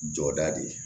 Jɔda de ye